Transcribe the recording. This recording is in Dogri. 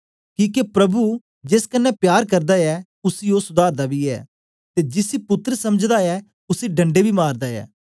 किके प्रभु जेस कन्ने प्यार करदा ऐ उसी ओ सुधारदा बी ऐ ते जिसी पुत्तर समझदा ऐ उसी ढणड़े बी मारदा ऐ